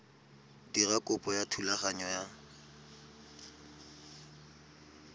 dira kopo ya thulaganyo ya